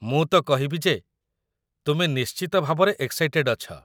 ମୁଁ ତ କହିବି ଯେ, ତୁମେ ନିଶ୍ଚିତ ଭାବରେ ଏକ୍‌ସାଇଟେଡ୍ ଅଛ ।